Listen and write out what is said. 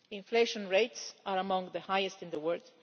Inflation rates are among the highest in the world.